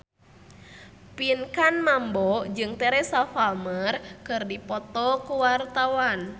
Pinkan Mambo jeung Teresa Palmer keur dipoto ku wartawan